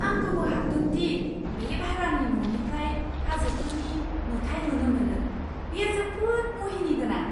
आं गोमोहाबदों दि बे भारानि न'निफ्राय हाजोफोरनि नुथाय नुनो मोनो। बेयो जोबोद मुहिनिगोनां!